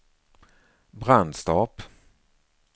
Brandstorp